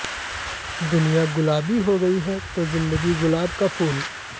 दुनिया गुलाबी हो गई तो जिंदगी गुलाब का फूल